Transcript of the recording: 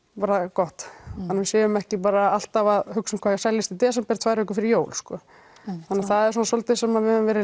gott þannig við séum ekki bara alltaf að hugsa um hvað seljist í desember tvær vikur fyrir jól þannig það er svona svolítið sem við höfum verið